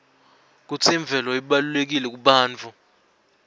kutsi imvelo ibalulekile kubantfu